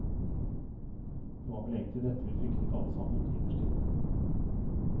Det var vel egentlig dette vi fryktet alle sammen, innerst inne.